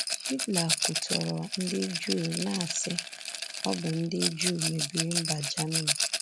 Hitler kwutọrọ ndị Juu, na-asị, ‘Ọ bụ ndị Juu mebiri mba Germany.’